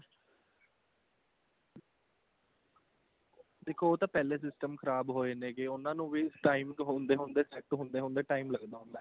ਦੇਖੋ ਉਹ ਤਾਂ ਪਹਿਲੇ system ਖਰਾਬ ਹੋਏ ਉਹਨਾ ਨੂੰ ਵੀ time ਹੁੰਦੇ ਹੁੰਦੇ set ਹੁੰਦੇ ਹੁੰਦੇ time ਲੱਗਦਾ ਹੁੰਦਾ